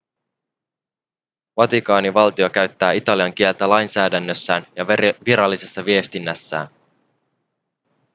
vatikaanivaltio käyttää italian kieltä lainsäädännössään ja virallisessa viestinnässään